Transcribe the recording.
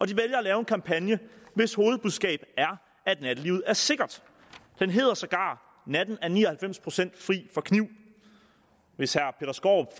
de vælger at lave en kampagne hvis hovedbudskab er at nattelivet er sikkert den hedder sågar natten er ni og halvfems fri for kniv hvis herre peter skaarup